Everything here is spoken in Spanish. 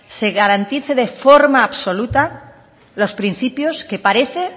se garantice de forma absoluta los principios que parece